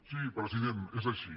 sí president és així